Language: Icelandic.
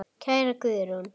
Kæra Guðrún.